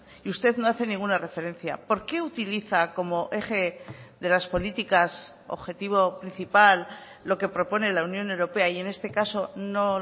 y usted no hace ninguna referencia por qué utiliza como eje de las políticas objetivo principal lo que propone la unión europea y en este caso no